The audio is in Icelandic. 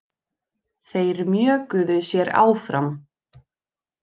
Þeir mjökuðu sér áfram.